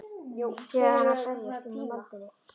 Sé hana berjast um í moldinni.